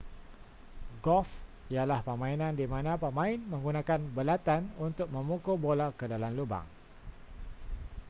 golf ialah permainan di mana pemain menggunakan belatan untuk memukul bola ke dalam lubang